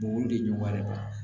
Mɔgɔw de ɲɔgɔn bɛ